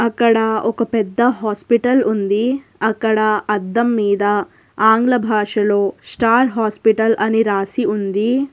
అక్కడ ఒక పెద్ద హాస్పిటల్ ఉంది. అక్కడ అద్దం మీద ఆంగ్ల భాషలో స్టార్ హాస్పిటల్ అని రాసి ఉంది.